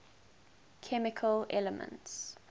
chemical elements